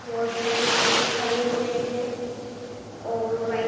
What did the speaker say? बहुत सारे पुरुष खड़े हुए है और वाइट --